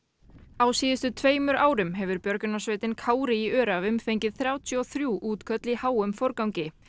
á síðustu tveimur árum hefur björgunarsveitin Kári í Öræfum fengið þrjátíu og þrjú útköll í háum forgangi